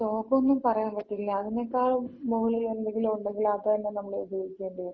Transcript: ശോകംന്ന് പറയാമ്പറ്റില്ല. അതിനേക്കാള് മുകളിലുള്ള എന്തെങ്കിലും ഉണ്ടെങ്കില് അത് തന്ന നമ്മള് ഉപയോഗിക്കേണ്ടി വരും.